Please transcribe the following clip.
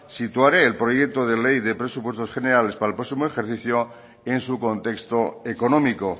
situaré el proyecto de ley de presupuestos generales para el próximo ejercicio en su contexto económico